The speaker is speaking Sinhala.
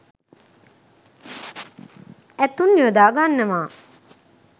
ඇතුන් යොදා ගන්නවා.